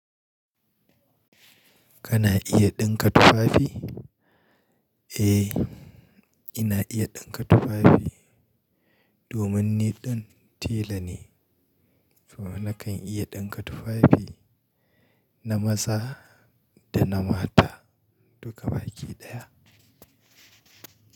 Kana iya ɗinka tufafi? Eh, ina iya ɗinka tufafi. Domin ni ɗin tela ne, to nakan iya ɗinka tufafi na maza da na mata duka baki ɗaya.